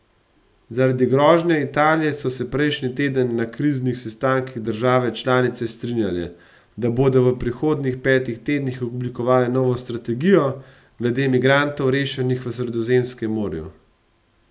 Zaradi grožnje Italije so se prejšnji teden na kriznih sestankih države članice strinjale, da bodo v prihodnjih petih tednih oblikovale novo strategijo glede migrantov rešenih v Sredozemskem morju.